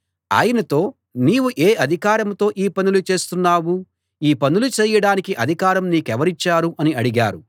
ఆయనతో నీవు ఏ అధికారంతో ఈ పనులు చేస్తున్నావు ఈ పనులు చేయడానికి అధికారం నీకెవరిచ్చారు అని అడిగారు